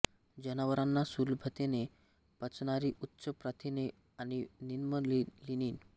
जनावरांना सुलभतेने पचणारी उच्च प्रथिने आणि निम्न लीनिन